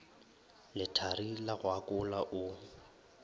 lethari la go akola o